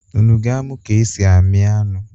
Unu ga-amụ ka e si amị anụ?